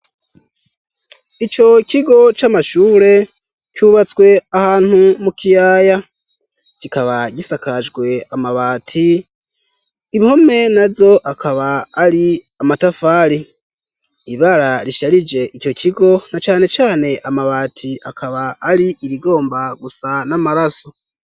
Ico kigo c'amashure cubatswe ahantu mu kiyaya kikaba gisakajwe amabati impome nazo akaba ari amatafari ibara risharije ico kigo na cane cane amabati akaba ari irigomba gusa n'amaraso.